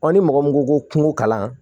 ni mɔgɔ min ko ko kungo kalan